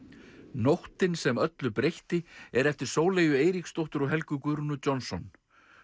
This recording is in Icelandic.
nóttin sem öllu breytti er eftir Sóleyju Eiríksdóttur og Helgu Guðrúnu Johnson